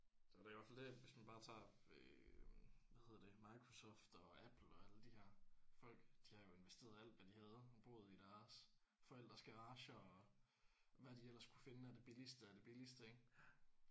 Så er det i hvert fald det at hvis man bare tager øh hvad hedder det Microsoft og Apple og alle de her folk de har jo investeret alt hvad de havde og boet i deres forældres garager og hvad de ellers kunne finde af det billigste af det billigste ik